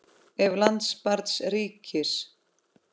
Ef. lands barns ríkis